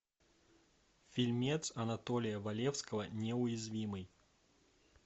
фильмец анатолия валевского неуязвимый